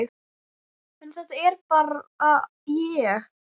En þetta er bara ég.